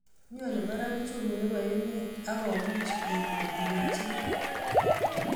Nyone barak uchumi nebo emet ak komuch bik kotelelchikei